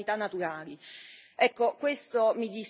Ecco, questo mi dispiace veramente tanto.